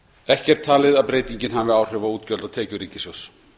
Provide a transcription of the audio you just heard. er talið að breytingin hafi áhrif á útgjöld og tekjur ríkissjóðs